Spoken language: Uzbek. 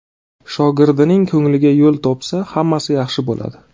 Shogirdining ko‘ngliga yo‘l topsa, hammasi yaxshi bo‘ladi.